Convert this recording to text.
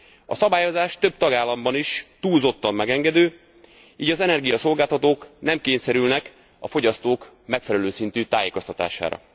A szabályozás több tagállamban is túlzottan megengedő, így az energiaszolgáltatók nem kényszerülnek a fogyasztók megfelelő szintű tájékoztatására.